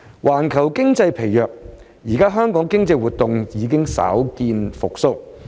環球經濟疲弱，現時香港經濟活動稍見復蘇。